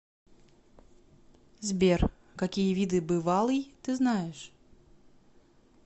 сбер какие виды бывалый ты знаешь